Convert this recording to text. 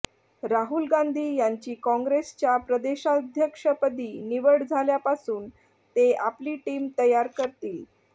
राहुल गांधी यांची काँग्रेसच्या प्रदेशाध्यक्षपदी निवड झाल्यापासून ते आपली टीम तयार करतील